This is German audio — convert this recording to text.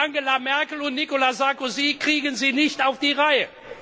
Angela Merkel und Nicolas Sarkozy kriegen sie nicht auf die Reihe.